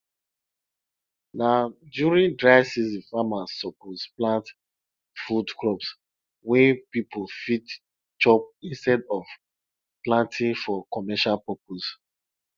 na during dry season farmers suppose plant food crops wey people fit chop instead of planting for commercial purposes